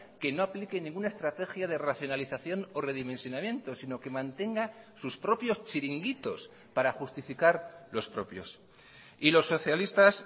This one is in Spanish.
que no aplique ninguna estrategia de racionalización o redimensionamiento sino que mantenga sus propios chiringuitos para justificar los propios y los socialistas